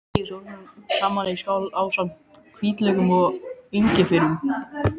Blandið sósunum saman í skál ásamt hvítlauknum og engifernum.